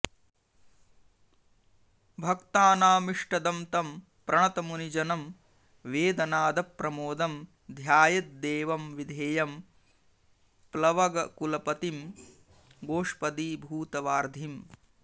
भक्तानामिष्टदं तं प्रणतमुनिजनं वेदनादप्रमोदं ध्यायेद्देवं विधेयं प्लवगकुलपतिं गोष्पदीभूतवार्धिम्